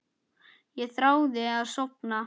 Ég þráði að sofna.